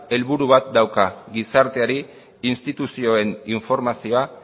helburu bat dauka gizarteari instituzioen informazioa